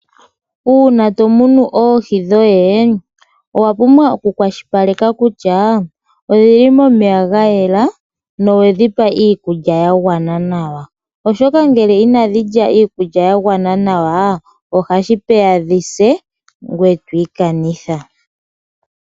Una tomunu oohi dhoye owapumbwa oku kwashilipaleka kutya odhili momeya gayela nowedhipa iikulya yangwana nawa, oshoka ngele inadhilya iikulya yangwana nawa ohashi peya dhise ngweye otwikanitha.